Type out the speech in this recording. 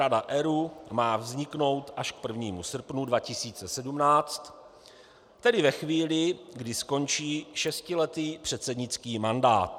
Rada ERÚ má vzniknout až k 1. srpnu 2017, tedy ve chvíli, kdy skončí šestiletý předsednický mandát.